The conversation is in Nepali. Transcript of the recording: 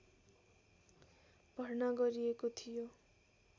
भर्ना गरिएको थियो